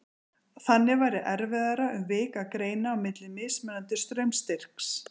Þannig væri erfiðara um vik að greina á milli mismunandi straumstyrks.